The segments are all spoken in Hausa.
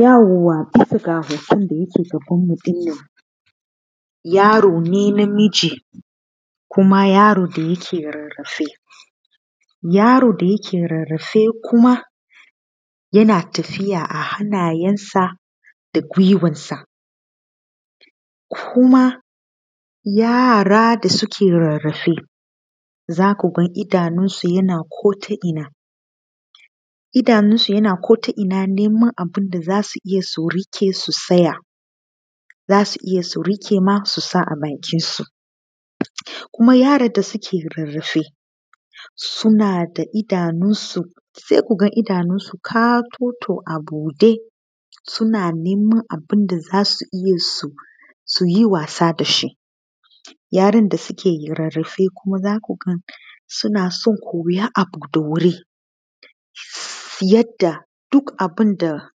Yauwa bisa ga hoton da yake gabanmu ɗin nan, yaro ne namiji kuma yaro da yake rarrafe. Yaro da yake rarrafe kuma yake tafiya a hannayensa da guiwarsa ko kuma yara da suke rarrafe za ku ga idanunsu ya a ko ta ina, idanunsu yana ko ta ina neman abun da za su riƙe su tsaya za su iya su riƙe su sa a bakinsu. Kuma yaran da suke rarrafe suna da idanunsu sai ku ga idanunsu katoto a buɗe suna neman abun da za su iya su buɗe su yi wasa da shi. Yarsn da suke rarrafe za ku ga suna son koyan abu da sauri yadda duk abun da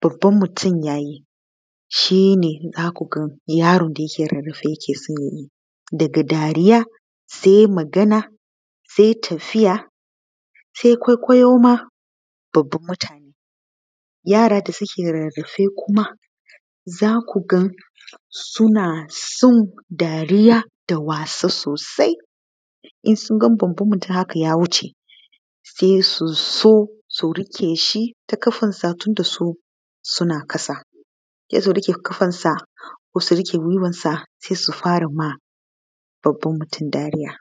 babban mutum ya yi shi be za ku ga yarin da yake rararafe yake son ya yi, daga dariya sai magana sai tagiya sai kwaikwayo ma daga mutane. Yara da suke rarrafe kuma za ku ga suna son dariya da wasa sosai, idan sun ga babban mutum ya wuce sai su zo sun rike shi ta ƙafarsa su suna ƙasa, sai su roke ƙafarsa ko guiwarsa sai su fara ma babban mutum dariya.